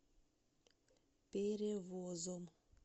перевозом